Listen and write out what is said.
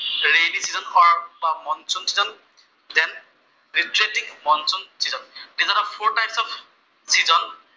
redivision of monsoon season দেশ reflecting of monsoon season. যিটো আমাৰ ফʼৰ টাইপচ্ অফ চিজন